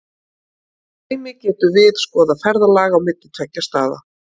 Sem dæmi getum við skoðað ferðalag á milli tveggja staða.